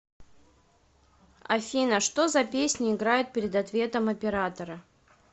афина что за песня играет перед ответом оператора